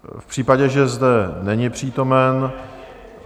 V případě, že zde není přítomen...